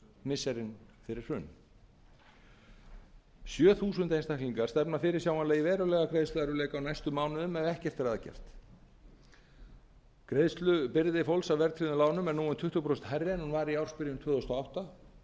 missirin fyrir hrun sjö þúsund einstaklingar stefna sjáanlega í verulega greiðsluerfiðleika á næstu mánuðum ef ekkert er að gert greiðslubyrði fólks á verðtryggðum lánum er núna tuttugu prósent hærri en hún var í ársbyrjun tvö þúsund og átta þetta er mun breytilegra hjá einstaklingum með